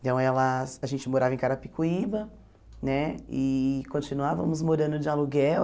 Então, ela a gente morava em Carapicuíba né e continuávamos morando de aluguel.